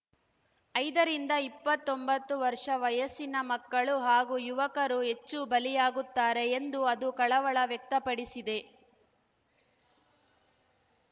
ಐದರಿಂದ ಇಪ್ಪತ್ತೊಂಬತ್ತು ವರ್ಷ ವಯಸ್ಸಿನ ಮಕ್ಕಳು ಹಾಗೂ ಯುವಕರು ಹೆಚ್ಚು ಬಲಿಯಾಗುತ್ತಾರೆ ಎಂದು ಅದು ಕಳವಳ ವ್ಯಕ್ತಪಡಿಸಿದೆ